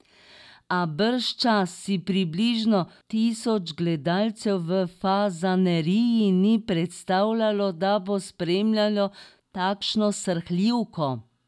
A bržčas si približno tisoč gledalcev v Fazaneriji ni predstavljalo, da bo spremljalo takšno srhljivko.